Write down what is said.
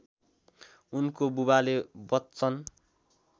उनको बुबाले बच्चन